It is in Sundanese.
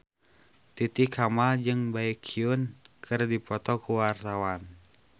Titi Kamal jeung Baekhyun keur dipoto ku wartawan